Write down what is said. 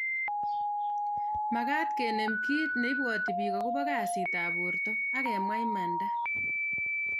Magat kenem kit neibwati bik akobo kasit ab borto agemwa imanda